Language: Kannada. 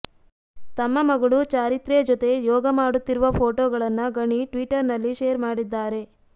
ತಮ್ಮ ಮಗಳು ಚಾರಿತ್ರ್ಯ ಜೊತೆ ಯೋಗ ಮಾಡುತ್ತಿರುವ ಫೋಟೋಗಳನ್ನ ಗಣಿ ಟ್ವಿಟ್ಟರ್ ನಲ್ಲಿ ಶೇರ್ ಮಾಡಿದ್ದಾರೆ